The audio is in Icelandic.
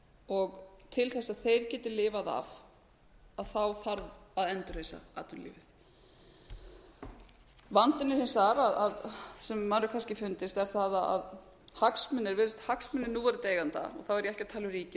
og til þess að þeir geti lifað af þarf að endurreisa atvinnulífið vandinn hins vegar sem manni hefur kannski fundist er sá að hagsmunir núverandi eigenda og þá er ég ekki að tala